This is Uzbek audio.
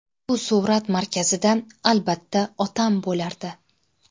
Bu surat markazida, albatta, otam bo‘lardi.